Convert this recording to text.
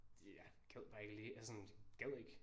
Det jeg gad bare ikke lige altså sådan gad ikke